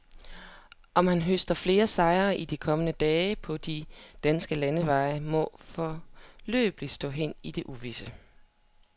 Om han høster flere sejre i de kommende dage på de danske landeveje, må foreløbig stå hen i det uvisse.